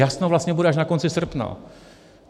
Jasno vlastně bude až na konci srpna.